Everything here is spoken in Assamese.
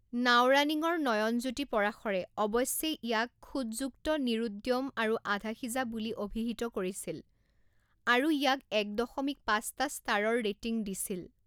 নাওৰানিঙৰ নয়ন জ্যোতি পৰাশৰে অৱশ্যে ইয়াক খুঁতযুক্ত নিৰুদ্যম আৰু আধাসিজা বুলি অভিহিত কৰিছিল আৰু ইয়াক এক দশমিক পাঁচটা ষ্টাৰৰ ৰেটিং দিছিল।